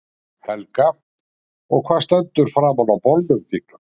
Helga: Og hvað stendur framan á bolnum þínum?